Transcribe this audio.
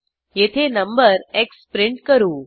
येथे number X print करू